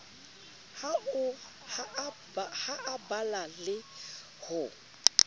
ha a bala le ho